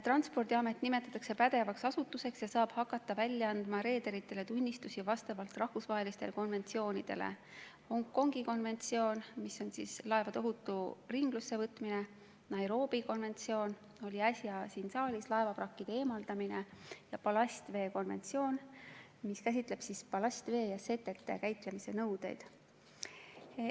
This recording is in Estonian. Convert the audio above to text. Transpordiamet nimetatakse pädevaks asutuseks ja saab hakata välja andma reederitele tunnistusi vastavalt rahvusvahelistele konventsioonidele: Hongkongi konventsioon laevade ohutu ringlussevõtmise kohta, Nairobi konventsioon laevavrakkide eemaldamise kohta – see oli äsja siin saalis arutusel – ja ballastvee konventsioon, mis käsitleb ballastvee ja setete käitlemise nõudeid.